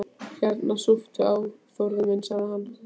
Hérna, súptu á, Þórður minn sagði hann.